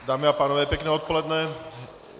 Dámy a pánové, pěkné odpoledne.